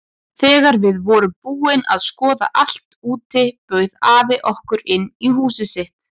Þegar við vorum búin að skoða allt úti bauð afi okkur inn í húsið sitt.